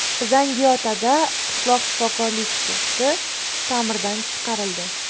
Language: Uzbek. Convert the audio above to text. Zangiotada qishloq shifokorlik punkti ta’mirdan chiqarildi.